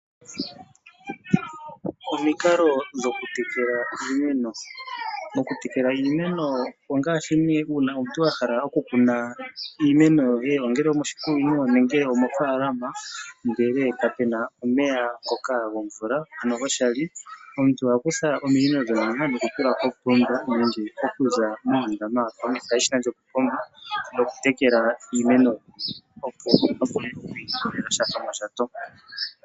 Omikalo dhokutekela iimeno. Okutekela iimeno ongaashi nee uuna omuntu a hala okukuna iimeno yoye, ongele omoshikunino ongele omofaalama ndele ka pe na omeya ngoka gomvula ano goshali. Omuntu oha kutha ominino ndhoka ndele nokutula kopomba nenge okuza moondama nokutekela iimeno, opo a vule oku ilikolela sha shomondjato.